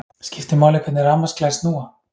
Skiptir máli hvernig rafmagnsklær snúa?